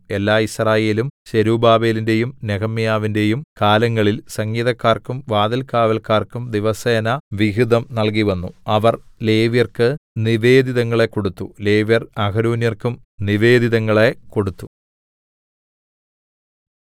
എല്ലാ യിസ്രായേലും സെരുബ്ബാബേലിന്റെയും നെഹെമ്യാവിന്റെയും കാലങ്ങളിൽ സംഗീതക്കാർക്കും വാതിൽകാവല്ക്കാർക്കും ദിവസേന വിഹിതം നൽകിവന്നു അവർ ലേവ്യർക്ക് നിവേദിതങ്ങളെ കൊടുത്തു ലേവ്യർ അഹരോന്യർക്കും നിവേദിതങ്ങളെ കൊടുത്തു